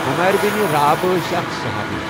عمیر بن رئاب ٲسؠ اَکھ صُحابی.